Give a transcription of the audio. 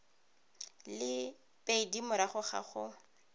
le pedi morago ga go